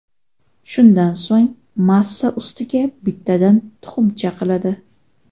Shundan so‘ng massa ustiga bittadan tuxum chaqiladi.